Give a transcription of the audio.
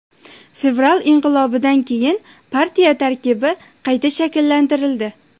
Fevral inqilobidan keyin partiya tarkibi qayta shakllantirildi.